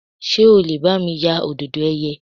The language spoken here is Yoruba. Ṣé o lè bá mi ya Òdòdó ẹ̀yẹ?